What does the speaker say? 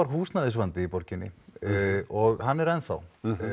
húsnæðisvandi í borginni og hann er ennþá þá